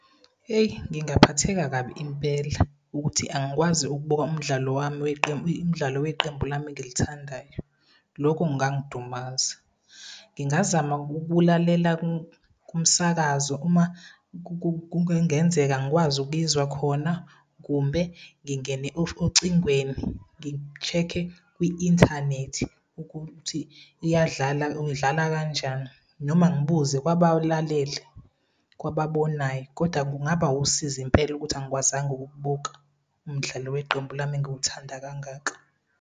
Heyi, ngingaphatheka kabi impela, ukuthi angikwazi ukubuka umdlalo weqembu lami engilithandayo. Lokho kungangidumaza. Ngingazama ukulalela kumsakazo uma kungenzeka ngikwazi ukuyizwa khona kumbe ngingene ocingweni ngi-check-e kwi-inthanethi ukuthi idlala kanjani noma ngibuze kwabalalele, kwababonayo koda kungaba wusizi impela ukuthi angikwazanga ukukubuka umdlalo weqembu lami engiwuthanda kangaka.